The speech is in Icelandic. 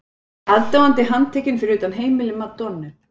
Aðdáandi handtekinn fyrir utan heimili Madonnu